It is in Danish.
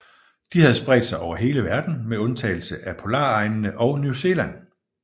De havde spredt sig over hele verden med undtagelse af polaregnene og New Zealand